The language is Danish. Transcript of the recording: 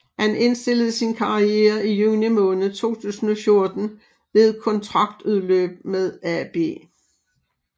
Han indstillede sin karriere i juni måned 2014 ved kontraktudløb med AB